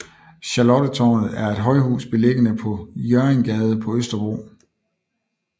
Charlottetårnet er et højhus beliggende på Hjørringgade på Østerbro